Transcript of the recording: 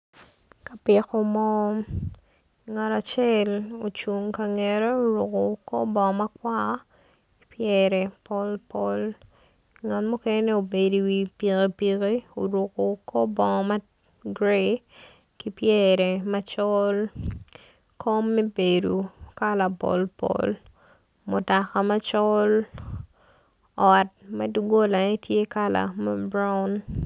Ka piko moo ngat acel ocung i ka ngete oruko bongo makwar pyere polpol ngat muken obedo i wi pikipiki orung kor bongo magrayi ki pyere macol kom me bedo kala polpol mutoka macol ot ma dog golane tye ma buraon.